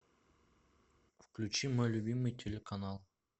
включи мой любимый телеканал